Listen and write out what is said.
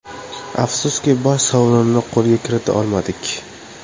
Afsuski, bosh sovrinni qo‘lga kirita olmadik.